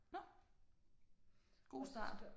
Nåh. God start